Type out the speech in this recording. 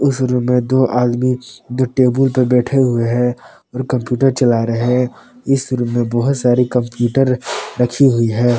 उस रूम में दो आदमी जो टेबल पर बैठे हुए हैं और कंप्यूटर चला रहे हैं इस रूम में बहुत सारी कंप्यूटर रखी हुई है।